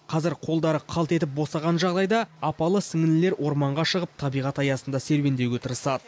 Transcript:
қазір қолдары қалт етіп босаған жағдайда апалы сіңлілер орманға шығып табиғат аясында серуендеуге тырысады